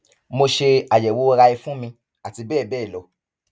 mo ṣe àyẹwò rai fún mi àti bẹẹ bẹẹ lọ